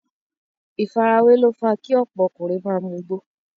ìfarawé ló fa kí ọ̀pọ̀ ọkùnrin ma mugbó.